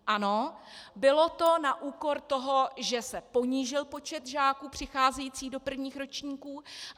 Ano, bylo to na úkor toho, že se ponížil počet žáků přicházejících do prvních ročníků.